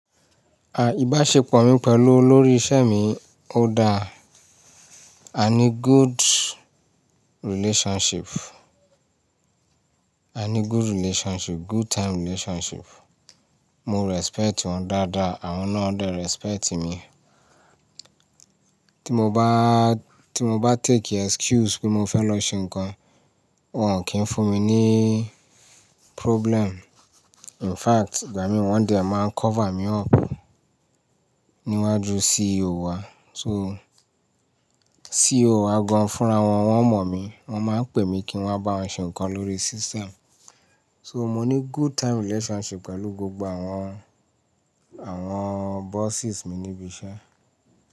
À, ìbáṣepọ̀ mi pẹ̀lú olórí ìṣẹ́ mi, ó da. A ní good relationship, a ní good relationship, good time relationship. Mo respect wọn dáadáa àwọn náà dẹ̀ respect mi. Tí mo bá, tí mo bá take excuse pé mo fẹ́ lọ ṣe nǹkan, wọ́n kì í fún mi ní problem. In fact, gbà mí wọ́n dẹ̀ máa ń cover mi up níwájú CEO wa. So CEO wa gan fúnra wọn, wọ́n mọ̀ mi. Wọ́n máa ń pè mi kí wọ́n bá wọn ṣe nǹkan lórí system. So mo ní good time relationship pẹ̀lú gbogbo àwọn, àwọn bosses mi níbi iṣẹ́.